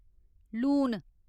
लून